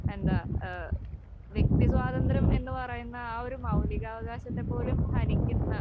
എന്താ ഏഹ് വ്യക്തിസ്വാതന്ത്ര്യം എന്നുപറയുന്ന ആ ഒരു മൗലികാവകാശത്തെ പോലും ഹനിക്കുന്ന